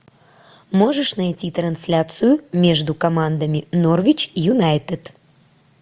можешь найти трансляцию между командами норвич юнайтед